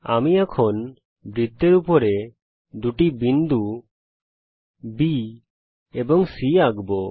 আমি এখন বৃত্তের উপর দুই বিন্দু B এবং C আঁকব